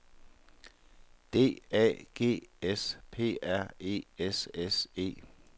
D A G S P R E S S E